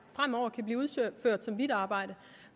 fremover kan blive udført som hvidt arbejde